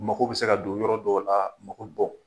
Mako bɛ se ka don yɔrɔ dɔw la mako bɔ